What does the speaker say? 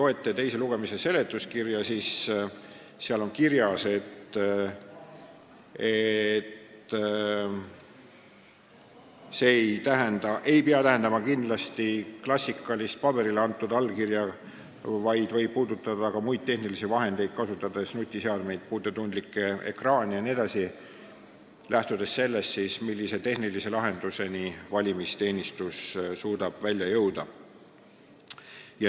Aga teise lugemise seletuskirjas on, et see ei pea kindlasti tähendama klassikalist paberile antud allkirja, vaid võib kasutada ka muid tehnilisi vahendeid, nutiseadmeid, puutetundlikke ekraane jne, lähtudes sellest, millise tehnilise lahenduseni valimisteenistus suudab jõuda.